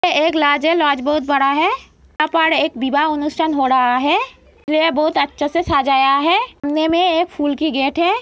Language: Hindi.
अ एक लाज है। लाज बहुत बड़ा है। यहाँ पर एक विवाह उत्थान हो रहा है। ये बहुत अच्छा से सजाया है। एक फूल की गेट है।